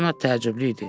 Leonard təəccüblü idi.